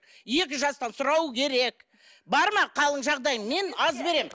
екі жастан сұрау керек бар ма халің жағдайың мен аз беремін